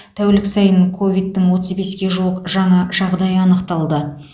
тәулік сайын ковидтің отыз беске жуық жаңа жағдайы анықталды